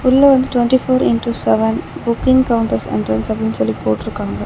உள்ள வந்துட்டு twenty four into seven booking counter entrance அப்டினு சொல்லிட்டு போட்ருக்காங்க.